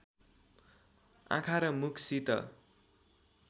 आँखा र मुखसित